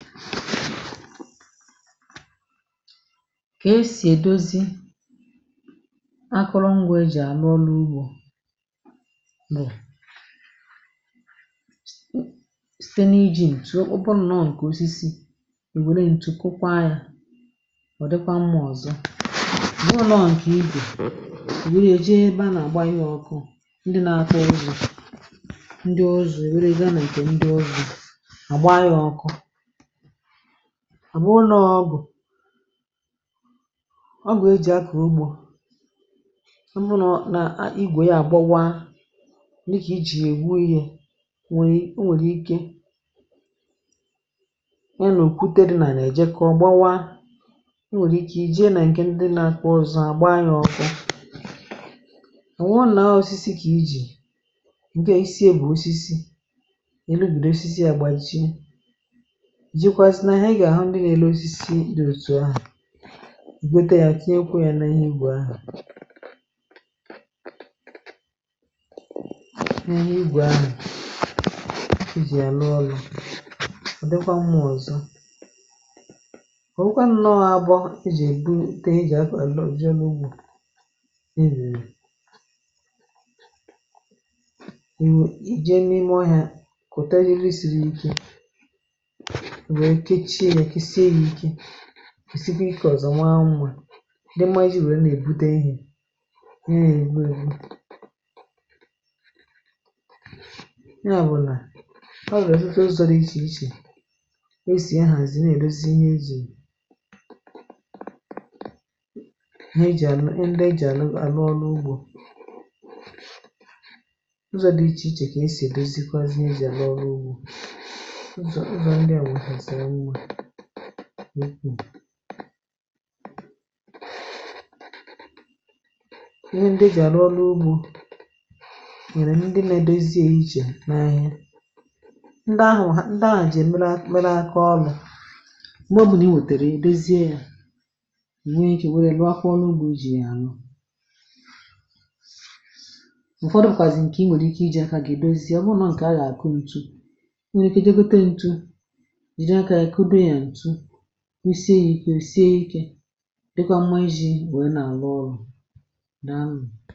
kà esì èdozi akụrụ ngwȧ e jì ànụ ọlụ̇ ugbȯ bụ̀ site n’iji̇ ǹtụ̀ okpuru̇ nọ ǹkè osisi, ì wère ǹtụ kwa yȧ, mà ọ̀ dịkwa mmụọ̇ ọ̀zọ, dịwụ n’ọ̀ nọọ̇ ǹkè igbò, ì wère èje ebe a nà àgba ya ọkụ̇, ndị nȧ atọ rùrù ndị ọzọ èwere gȧ, nà ǹkè ndị ọzọ àgba ya ọkụ, à bụrụ nà ọ bụ̀ ọ gù e jì akà ugbȯ mbụ, nà a nà igwè ya gbawaa n’ịchì nà ègbu, ihė nwèrè ike a nà òkwutere nà nà èjekọ gbawaa, nwèrè ike ì jee, nà ǹkè ndi nà kwa ọzọ à gbaa yȧ ọkụ, à nà òwùrù nà ọ̀ sịsị kàila. ǹkè isiė bụ̀ osisi ènubìdè, osisi à gbaa ịchì igote ya, kenye kwuo ya n’ihe ugwù ahụ̀, n’ihe ugwù ahụ̀ ijì ya n’ọlụ̇, ọ̀ dịkwa mmụọ̇ ọ̀zọ, ọ̀wụkwa nnụọ abụọ ijì èbu teė, jì akwà àlọghị jì n’ugbȯ, erè kwẹ̀sikwa ịkẹ̀ ọ̀zọ, nwa annụ̇ à ùde mmazi wèe nà èbute ihė nà èbu èbu, ya bụ̇ nà ọ wẹ̀ọzụ̀, ịzọ̇ dị ichè ichè e sì ahà zi nà èbezi, ihe zì nà e jì à, nà e jì ànụ àlụ ọrụ ugbȯ n’ukwù, ihe ndị si à rụọ n’ugbȯ nyèrè ndị nȧ edozie, ichè n’ahịa ndị ahụ̀, nwà ha, ndị à ji mere akọ̀ ọlà ndọ̀, bụ̀ nà i wètèrè ebezie, yȧ nwee e jì wère luakwa ọnụ ugbȯ, jì à nọ. ụ̀fọdụkwàzì ǹkè i nwèrè ike iji̇ à kà gà èdozi, à bụrụ nà ǹkè a gà àkụ ǹtụ usie, ìkė̇ sìe ikė dịkọ mmȧ, ijì nwèe nà àlọ ọrụ̇ nà amì.